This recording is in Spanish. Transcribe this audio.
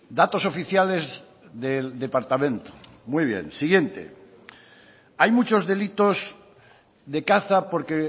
datos oficiales del departamento muy bien siguiente hay muchos delitos de caza porque